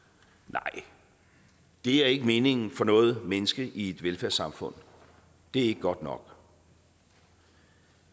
nej det er ikke meningen for noget menneske i et velfærdssamfund det er ikke godt nok